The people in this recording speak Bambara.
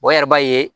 yɛrɛ b'a ye